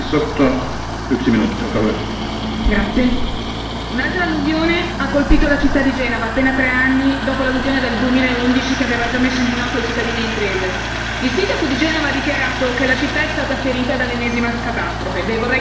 Signor Presidente, onorevoli colleghi, un'altra alluvione ha colpito la città di Genova. Appena tre anni dopo l'alluvione del 2011 che aveva già messo in ginocchio cittadini e imprese. Il sindaco di Genova ha dichiarato che la città è stata ferita dall'ennesima catastrofe.